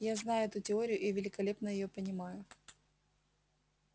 я знаю эту теорию и великолепно её понимаю